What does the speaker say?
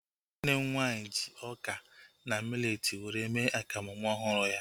Nwanne m nwaanyị ji ọka na miletii were mee akamu nwa ọhụrụ ya